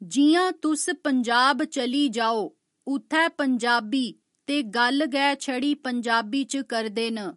जि'यां तुस पजांब चली जाओ उत्थै पंजाबी ते गल्ल गै छड़ी पंजाबी च करदे न